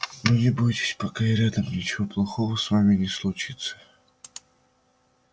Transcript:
но не бойтесь пока я рядом ничего плохого с вами не случится